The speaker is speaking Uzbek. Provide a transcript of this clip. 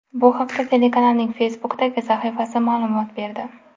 Bu haqda telekanalning Facebook’dagi sahifasi ma’lumot berdi .